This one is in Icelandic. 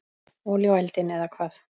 Olía á eldinn, eða hvað?